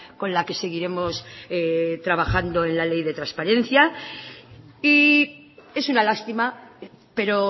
con la que seguiremos trabajando en la ley de transparencia y es una lástima pero